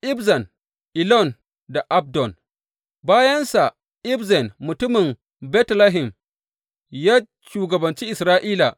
Ibzan, Elon da Abdon Bayansa, Ibzan mutumin Betlehem, ya shugabanci Isra’ila.